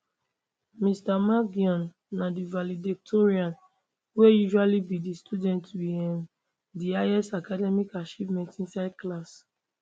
mr mangione na di valedictorian wey usually be di student with um di highest academic achievements inside class